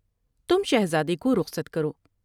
تم شہزادے کو رخصت کرو ۔